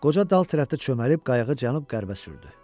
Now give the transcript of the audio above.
Qoca dal tərəfdə çömbəlib qayığı cənub-qərbə sürdü.